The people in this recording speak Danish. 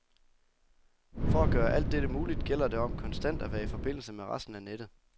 For at gøre alt dette muligt, gælder det om konstant at være i forbindelse med resten af nettet.